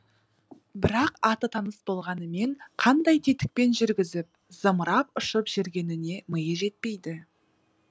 бірақ аты таныс болғанмен қандай тетікпен жүргізіп зымырап ұшып жүргеніне миы жетпейді